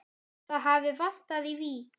Það hafi vantað í Vík.